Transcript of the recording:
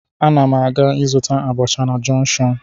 Ana m aga ịzụta abacha na jọnshọn